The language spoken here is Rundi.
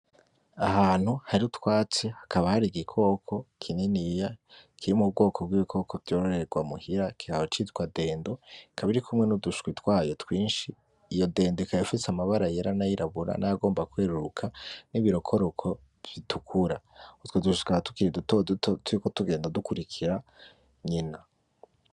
Ahantu hari utwatsi hakaba hari igikoko kininiya kiri mu bwoko bw'ibikoko vyororerwa muhira kikaba citwa dendo, ikaba irikumwe n'uduswi twayo twinshi, iyo dendo ikaba ifise amabara yera, n'ayirabura, n'ayagomba kweruruka, n'ibirokoroko bitukura, utwo duswi tukaba tukiri duto duto turiko tugenda dukurikira nyina.